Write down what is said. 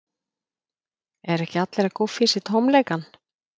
Eru ekki allir að gúffa í sig tómleikann?